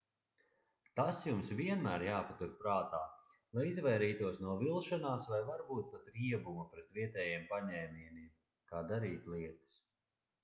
tas jums vienmēr jāpatur prātā lai izvairītos no vilšanās vai varbūt pat riebuma pret vietējiem paņēmieniem kā darīt lietas